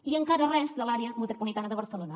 i encara res de l’àrea metropolitana de barcelona